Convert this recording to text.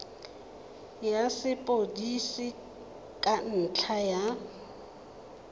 ya sepodisi ka ntlha ya